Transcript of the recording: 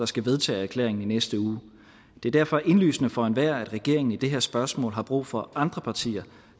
skal vedtages i næste uge det er derfor indlysende for enhver at regeringen i det her spørgsmål har brug for andre partier